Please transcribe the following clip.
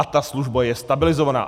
A ta služba je stabilizovaná.